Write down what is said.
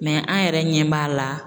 an yɛrɛ ɲɛ b'a la.